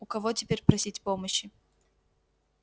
у кого теперь просить помощи